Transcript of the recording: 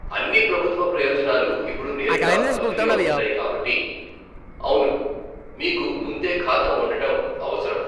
అన్ని ప్రభుత్వ ప్రయోజనాలు ఇప్పుడు నేరుగా బదిలీ అవుతున్నాయి కాబట్టి, అవును మీకు ముందే ఖాతా ఉండటం అవసరం.